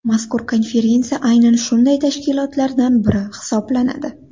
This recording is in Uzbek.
Mazkur konferensiya aynan shunday tashkilotlardan biri hisoblanadi.